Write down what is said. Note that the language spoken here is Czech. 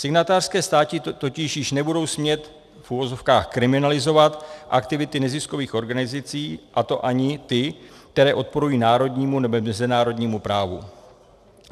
Signatářské státy totiž již nebudou smět v uvozovkách kriminalizovat aktivity neziskových organizací, a to ani ty, které odporují národnímu nebo mezinárodnímu právu.